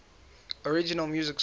original music score